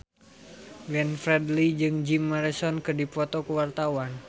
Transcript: Glenn Fredly jeung Jim Morrison keur dipoto ku wartawan